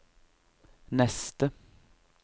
neste